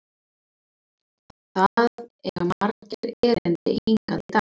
Það eiga margir erindi hingað í dag.